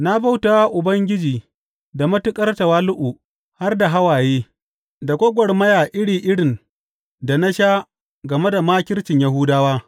Na bauta wa Ubangiji da matuƙar tawali’u har da hawaye, da gwagwarmaya iri irin da na sha game da makircin Yahudawa.